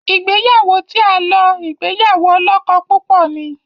Ìgbéyàwó tí a lò ìgbéyàwó olókó púpò ní.